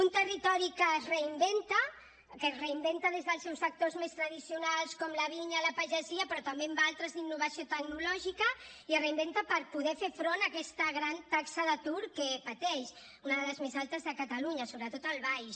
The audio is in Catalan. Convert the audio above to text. un territori que es reinventa que es reinventa des dels seus factors més tradicionals com la vinya la pagesia però també amb altres d’innovació tecnològica i es reinventa per poder fer front a aquesta gran taxa d’atur que pateix una de les més altes de catalunya sobretot al baix